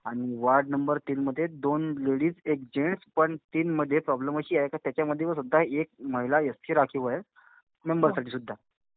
आणि ward number तीनमध्ये दोन लेडीज एक जेन्ट्स. पण तीनमध्ये प्रॉब्लेम अशी आहे का त्याच्यामध्ये सुद्धा एक महिला एससी राखीव आहे. मेंबरसाठी सुद्धा.